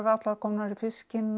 allar komnar í fiskinn